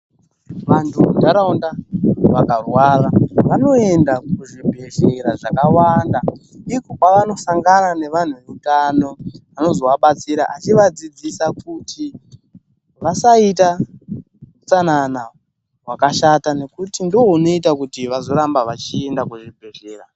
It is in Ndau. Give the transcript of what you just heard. Vandu mundaraunda vakarwara vanoenda kuzvibhedhlera zvakawanda iko kwavanosangana nevandu vehutano vanozovabatsira achivadzidzisa kuti vasaita hustanana hwakashata nokuti ndounoita kuti vazoramba vachienda kuzvibhedhlera.